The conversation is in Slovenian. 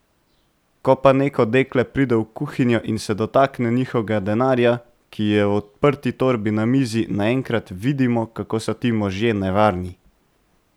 Ko pa neko dekle pride v kuhinjo in se dotakne njihovega denarja, ki je v odprti torbi na mizi, naenkrat vidimo, kako so ti možje nevarni.